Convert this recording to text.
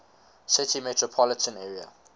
city metropolitan area